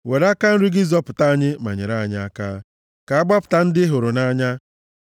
Were aka nri gị zọpụta anyị ma nyere anyị aka, ka a gbapụta ndị ị hụrụ nʼanya.